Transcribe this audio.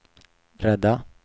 rädda